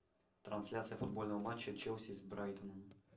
трансляция футбольного матча челси с брайтоном